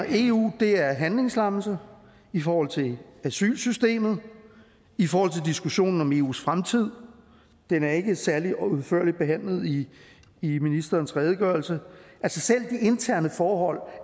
eu er handlingslammelse i forhold til asylsystemet i forhold til diskussionen om eus fremtid den er ikke særlig udførligt behandlet i i ministerens redegørelse selv interne forhold